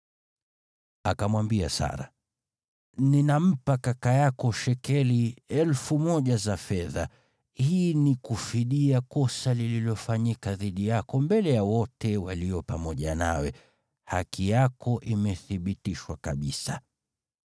Akamwambia Sara, “Ninampa kaka yako shekeli elfu moja za fedha. Hii ni kufidia kosa lililofanyika dhidi yako mbele ya wote walio pamoja nawe; haki yako imethibitishwa kabisa.”